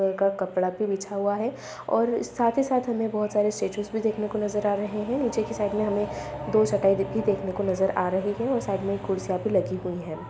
एक कपड़ा भी बिछा हुआ है और साथ ही साथ हमें बहोत सारे स्टेच्यूज भी देखने को नज़र आ रहे हैं नीचे कि साइड में हमें दो चटाई भी देखने को नज़र आ रही हैं और साइड में कुर्सियां भी लगी हुई हैं।